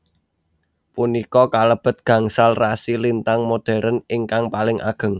Punika kalebet gangsal rasi lintang modhern ingkang paling ageng